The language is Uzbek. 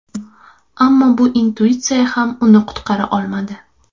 Ammo bu intuitsiya ham uni qutqara olmadi.